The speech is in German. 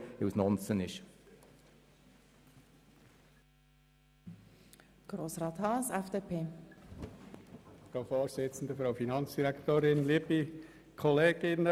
Aber wir werden beide Motionen abschreiben, weil ihre Forderungen erfüllt sind.